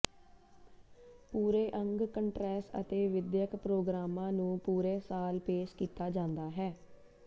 ਪੂਰੇ ਅੰਗ ਕੰਟ੍ਰੈਸ ਅਤੇ ਵਿਦਿਅਕ ਪ੍ਰੋਗਰਾਮਾਂ ਨੂੰ ਪੂਰੇ ਸਾਲ ਪੇਸ਼ ਕੀਤਾ ਜਾਂਦਾ ਹੈ